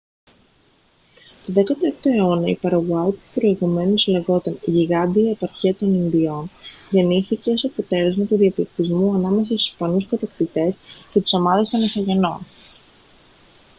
τον 16ο αιώνα η παραγουάη που προηγουμένως λεγόταν « γιγάντια επαρχία των ινδιών» γεννήθηκε ως αποτέλεσμα του διαπληκτισμού ανάμεσα στους ισπανούς κατακτητές και τις ομάδες των ιθαγενών